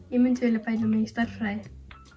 ég myndi vilja bæta mig í stærðfræði